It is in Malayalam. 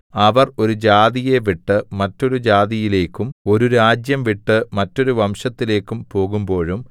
അവർ ഒരു ജാതിയെ വിട്ടു മറ്റൊരു ജാതിയിലേക്കും ഒരു രാജ്യം വിട്ടു മറ്റൊരു വംശത്തിലേക്കും പോകുമ്പോഴും